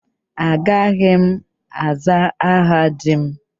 Agaghị m aza aha di m.